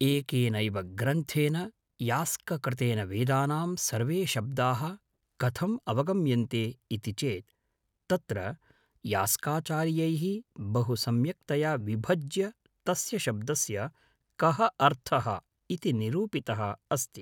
एकेनैव ग्रन्थेन यास्ककृतेन वेदानां सर्वे शब्दाः कथम् अवगम्यन्ते इति चेत् तत्र यास्काचार्यैः बहु सम्यक्तया विभज्य तस्य शब्दस्य कः अर्थः इति निरूपितः अस्ति